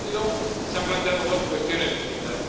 Y, en este sentido, se han planteado dos cuestiones distintas.